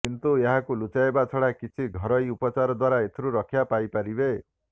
କିନ୍ତୁ ଏହାକୁ ଲୁଚାଇବା ଛଡ଼ା କିଛି ଘରୋଇ ଉପଚାର ଦ୍ବାରା ଏଥିରୁ ରକ୍ଷା ପାଇପାରିବେ